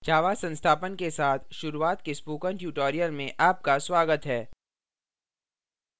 java संस्थापन के साथ शुरूआत पर spoken tutorial में आपका स्वागत है